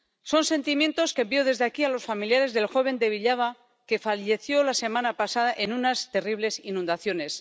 Son sentimientos que envío desde aquí a los familiares del joven de Villava que falleció la semana pasada en unas terribles inundaciones